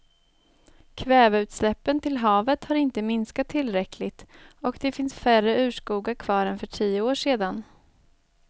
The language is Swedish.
Kväveutsläppen till havet har inte minskat tillräckligt och det finns färre urskogar kvar än för tio år sedan.